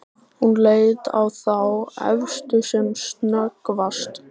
Hún leit á þá efstu sem snöggvast.